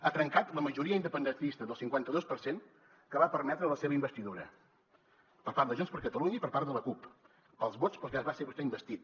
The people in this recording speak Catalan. ha trencat la majoria independentista del cinquanta dos per cent que va permetre la seva investidura per part de junts per catalunya i per part de la cup pels vots pels quals va ser vostè investit